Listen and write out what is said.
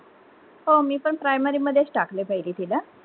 हो, मी पण primary मधेच टाकल पहिले तिला.